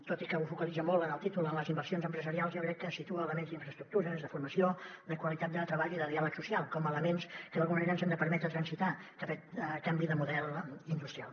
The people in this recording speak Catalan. tot i que ho focalitza molt en el títol en les inversions empresarials jo crec que situa elements d’infraestructures de formació de qualitat de treball i de diàleg social com a elements que d’alguna manera ens han de permetre transitar cap a aquest canvi de model industrial